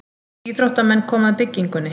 Íþróttamenn koma að byggingunni.